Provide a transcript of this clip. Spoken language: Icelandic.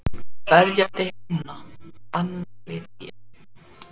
Kveðja til himna, Anna Lydía.